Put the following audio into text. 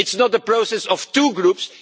It's not the process of two groups